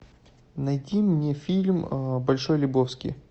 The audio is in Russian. найди мне фильм большой лебовски